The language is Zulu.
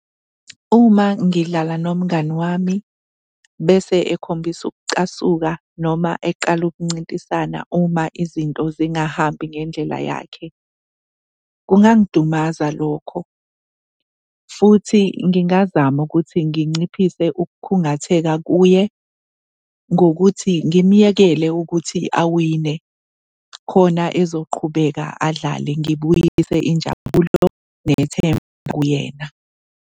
Uma ngidlala nomngani wami bese ekhombisa ukucasuka noma eqala ukuncintisana uma izinto zingahambi ngendlela yakhe kungangidumaza lokho, futhi ngingazama ukuthi nginciphise ukukhungatheka kuye ngokuthi ngimyekele ukuthi awine khona ezoqhubeka adlale, ngibuyise injabulo nethemba kuyena.